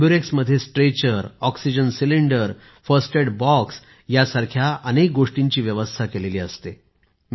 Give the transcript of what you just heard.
एम्बुरेक्समध्ये stretcher oxygen cylinder first aid box यासारख्या अनेक गोष्टींची व्यवस्था केली आहे